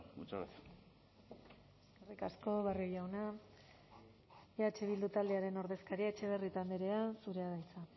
muchas gracias eskerrik asko barrio jauna eh bildu taldearen ordezkaria etxebarrieta andrea zurea da hitza